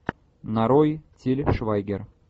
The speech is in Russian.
нарой тиль швайгер